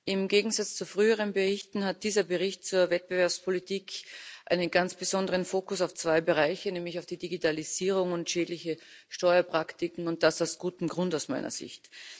Im Gegensatz zu früheren Berichten hat dieser Bericht zur Wettbewerbspolitik einen ganz besonderen Fokus auf zwei Bereiche, nämlich auf die Digitalisierung und auf schädliche Steuerpraktiken und das aus gutem Grund aus meiner Sicht.